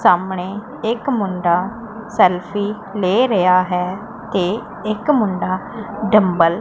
ਸਾਹਮਣੇ ਇੱਕ ਮੁੰਡਾ ਸੈਲਫੀ ਲੇ ਰਿਹਾ ਹੈ ਤੇ ਇੱਕ ਮੁੰਡਾ ਡੰਬਲ --